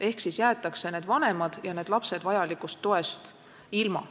Nii jäetakse need vanemad ja need lapsed vajalikust toest ilma.